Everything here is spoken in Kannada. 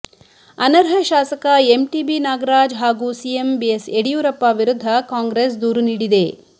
ಅನರ್ಹ ಶಾಸಕ ಎಂಟಿಬಿ ನಾಗರಾಜ್ ಹಾಗೂ ಸಿಎಂ ಬಿಎಸ್ ಯಡಿಯೂರಪ್ಪ ವಿರುದ್ಧ ಕಾಂಗ್ರೆಸ್ ದೂರು ನೀಡಿದೆ